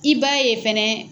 I b'a ye fɛnɛ